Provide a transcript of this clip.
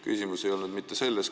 Küsimus ei olnud mitte selles.